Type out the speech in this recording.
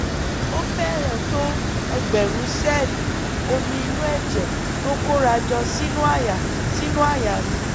ó fẹ́rẹ̀ẹ́ tó ẹgbẹ̀rún sẹ́ẹ̀lì omi inú ẹ̀jẹ̀ tó kóra jọ sínú àyà sínú àyà mi